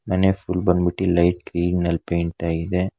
ಮನೆ ಫುಲ್ ಬಂದ್ಬಿಟ್ಟಿ light green ನಲ್ ಪೇಂಟ್ ಆಗಿದೆ.